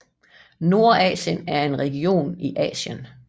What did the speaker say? Nordasien er en region i Asien